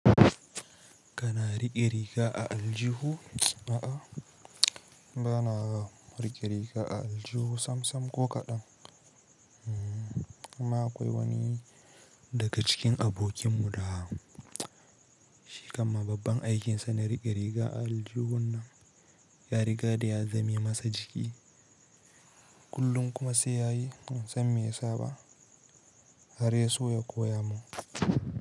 Kana riƙe riga a aljihu? A'a, ba na riƙe riga a aljihu samsam ko kaɗan. Amma akwai wani daga cikin abokin mu da shi kamma babban aikin sa ma riƙe riga a aljihunnan, ya riga da ya zame masa jiki kullum kuma sai yayi bansan me ya saba, har yaso yakoya mun.